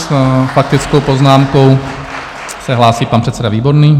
S faktickou poznámkou se hlásí pan předseda Výborný.